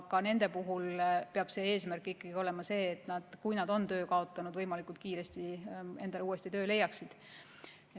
Ka nende inimeste puhul peab eesmärk ikkagi olema see, et nad võimalikult kiiresti endale uuesti töö leiaksid.